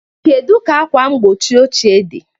Kedu ka ákwà mgbochi ochie dị?